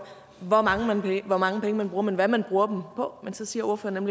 hvor mange penge man bruger men hvad man bruger dem på men så siger ordføreren